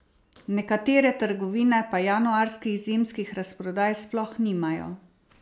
Nekatere trgovine pa januarskih zimskih razprodaj sploh nimajo.